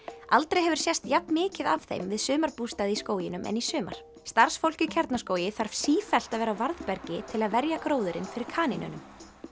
aldrei hefur sést jafn mikið af þeim við sumarbústaði í skóginum en í sumar starfsfólk í Kjarnaskógi þarf sífellt að vera á varðbergi til að verja gróðurinn fyrir kanínunum